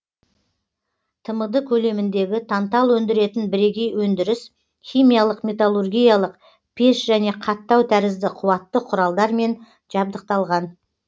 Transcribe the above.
тмд көлеміндегі тантал өндіретін бірегей өндіріс химиялық металлургиялық пеш және қаттау тәрізді қуатты құралдармен жабдықталған